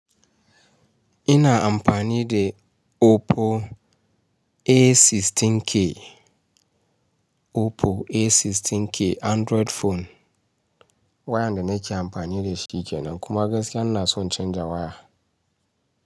Ina amfani da Oppo A16k, Oppo A16k Android phone. Wayan da nake amfani da shi kenan kuma gaskiya ina son canza waya.